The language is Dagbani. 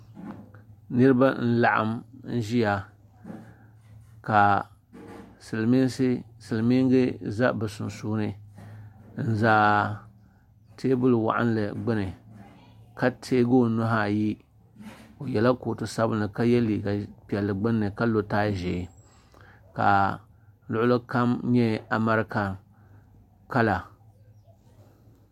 Niriba n laɣim n ʒia ka silimiiga za bɛ sunsuuni n za teebuli waɣinli gbini ka teegi o nuhi ayi o yela kootu sabinli ka ye liiga piɛlli gbinni ka lo taaya ʒee ka luɣuli kam nyɛ amaroka kala.